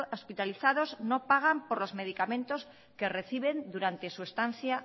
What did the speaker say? hospitalizados no pagan por los medicamentos que reciben durante su estancia